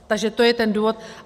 Takže to je ten důvod.